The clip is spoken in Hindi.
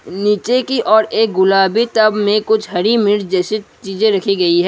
नीचे की और एक गुलाबी टब में कुछ हरी मिर्च जैसी चीजें रखी गई है।